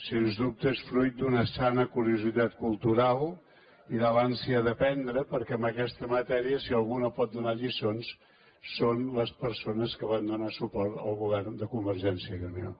sens dubte és fruit d’una sana curiositat cultural i de l’ànsia d’aprendre perquè en aquesta matèria si algú no pot donar lliçons són les persones que van donar suport al govern de convergència i unió